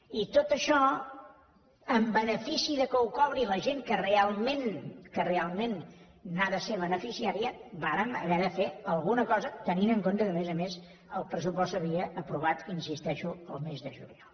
i amb tot això en benefici que ho cobri la gent que realment que realment n’ha de ser beneficiària vàrem haver de fer alguna cosa tenint en compte que a més a més el pressupost s’havia aprovat hi insisteixo el mes de juliol